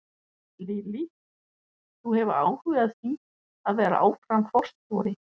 Lillý: Þú hefur áhuga á því að vera áfram forstjóri?